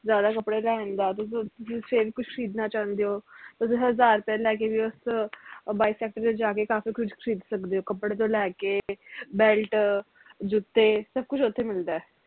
ਜਿਆਦਾ ਕੱਪੜੇ ਲੈਣ ਜਾਨ ਤੁਸੀਂ ਕੁਛ ਖਰੀਦਣਾ ਚਾਹੁੰਦੇ ਹੋ ਓਥੇ ਹਜ਼ਾਰ ਰੁਪਏ ਲੈ ਕੇ ਵੀ ਉਸ ਅਹ ਬਾਈ sector ਵਿਚ ਜਾ ਕੇ ਕਾਫੀ ਕੁਛ ਖਰੀਦ ਸਕਦੇ ਹੋ ਕਪੜੇ ਤੋਂ ਲੈ ਕੇ belt ਜੁੱਤੇ ਸਬ ਕੁਛ ਓਥੇ ਮਿਲਦਾ